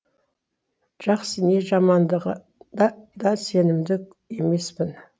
жақсы не жамандығын да да сенімді емеспін